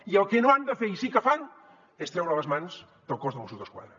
i el que no han de fer i sí que fan és treure les mans del cos de mossos d’esquadra